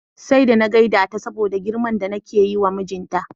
Sai da na gaida ta saboda girman da nake yiwa mijinta.